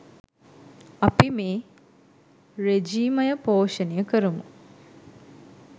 අපි මේ රෙජීමය පෝෂණය කරමු